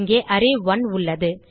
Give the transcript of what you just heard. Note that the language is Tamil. இங்கே அரே1 உள்ளது